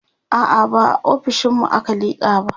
a'a ba a ofishinmu aka liƙa ba